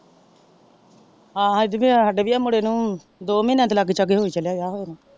ਜਿਵੇਂ ਆ ਹਾੜੇ ਵੀ ਆਹ ਮੁੰਡੇ ਨੂੰ ਦੋ ਮਾਹੀਆਂ ਦੇ ਲਗੇ ਸ਼ਾਗੇ ਹੋ ਹੀ ਚੱਲਿਆ ਵਿਆਹ ਹੋਏ ਨੂੰ।